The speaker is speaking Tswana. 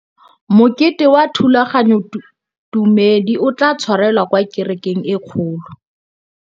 Mokete wa thulaganyôtumêdi o tla tshwarelwa kwa kerekeng e kgolo.